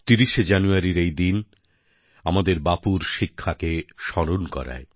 ৩০শে জানুয়ারির এই দিন আমাদের বাপুর শিক্ষাকে স্মরণ করায়